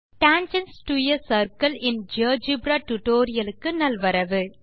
வணக்கம் tangents to a circle in GeoGebra tutorial க்கு நல்வரவு